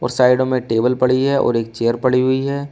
और साइड में टेबल पड़ी है और एक चेयर पड़ी हुई है।